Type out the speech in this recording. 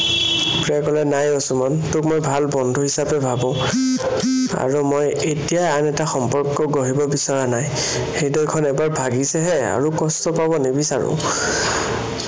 প্ৰিয়াই কলে, নাই অ সুমন, তোক মই ভাল বন্ধু হিচাপে ভাৱো। আৰু মই এতিয়াই আন এটা সম্বন্ধ আকৌ গঢ়িব বিচৰা নাই। হৃদয়খন এবাৰ ভাগিছেহে, আৰু কষ্ট পাব নিবিচাৰো।